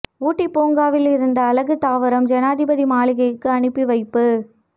ஊட்டி பூங்காவில் இருந்த அழகு தாவரம் ஜனாதிபதி மாளிகைக்கு அனுப்பி வைப்பு